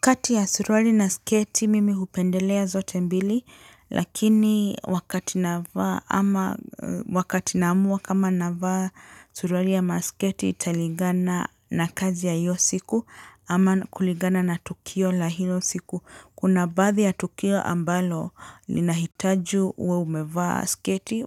Kati ya suruali na sketi mimi hupendelea zote mbili, lakini wakati naamua kama navaa suruali ama sketi italingana na kazi ya hiyo siku ama kulingana na tukio la hilo siku. Kuna baadhi ya tukio ambalo linahitaji uwe umevaa sketi,